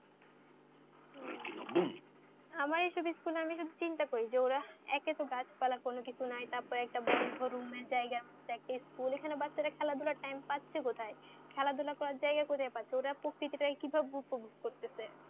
আমাই সব school আমি জিনতা করি যে ও ওরা একেতো গাছ পালা কোনো কিছু নাই তারপরে বন্ধ রুমে যায়গা দেখে school এখানে বাঁচারা খেলা ধুলা time পাচ্ছে কোথায় খেলা ধলা করা যায়গা কোথায় পারছে প্রকৃতিরা উপভোগ করতেছে